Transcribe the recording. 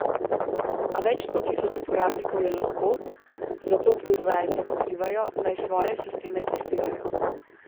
A več sto tisoč uporabnikov je lahko, zato proizvajalce pozivajo, naj svoje sisteme testirajo.